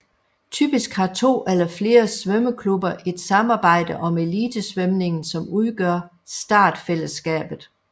Typisk har to eller flere svømmeklubber et samarbejde om elitesvømningen som udgør startfællesskabet